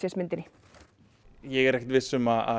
myndinni ég er ekkert viss um að